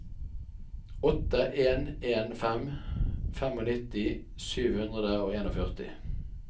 åtte en en fem nittifem sju hundre og førtien